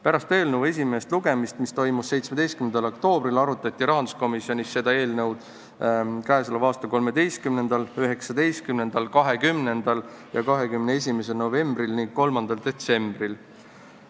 Pärast eelnõu esimest lugemist, mis toimus 17. oktoobril, arutati rahanduskomisjonis seda eelnõu k.a 13., 19., 20. ja 21. novembril ning 3. detsembril.